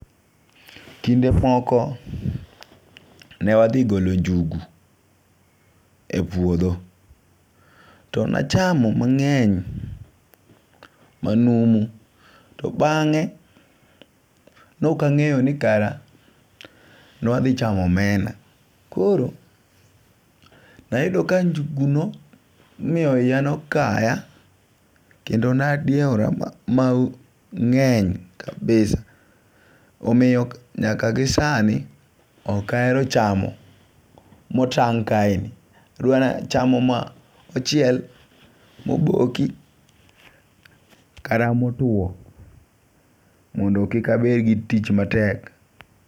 Kinde moko newathi golo ngugu, e puotho, to nachamo mange'ny manumu to bange', ne okangeyo ni kara newathichamo omena koro nayudo ka njuguno nomiyo hiya nokaya kendo nadiewora mange'ny kabisa omiyo nyaka gi sani okahero chamo motang' kaeni adwani achamo ma mochiel, moboki kata motuo mondo kik abed gi tich matek.